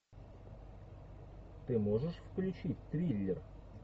ты можешь включить триллер